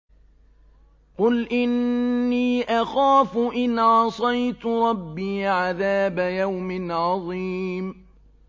قُلْ إِنِّي أَخَافُ إِنْ عَصَيْتُ رَبِّي عَذَابَ يَوْمٍ عَظِيمٍ